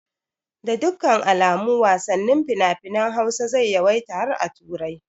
Da dukkan alamu wasannin finafinan Hausa zai yawaita har a turai